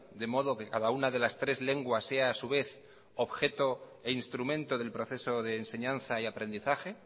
de modo que cada una de las tres lenguas sea a su vez objeto e instrumento del proceso de enseñanza y aprendizaje